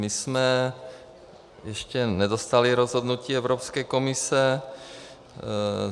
My jsme ještě nedostali rozhodnutí Evropské komise.